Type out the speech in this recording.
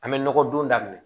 An bɛ nɔgɔ don da minɛ